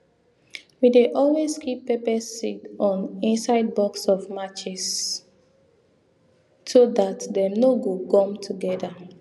we dey always keep pepper seed on inside box of matches so that dem nor go gum together